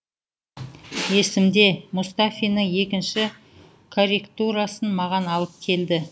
есімде мұстафиннің екінші корректурасын маған алып келді